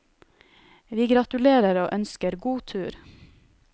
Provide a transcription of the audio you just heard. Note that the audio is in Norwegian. Vi gratulerer og ønsker god tur.